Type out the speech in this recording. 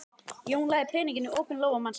Jón lagði peninginn í opinn lófa mannsins.